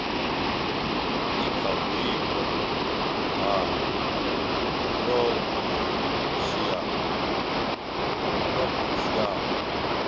i kha vhuimo ha phurofeshinala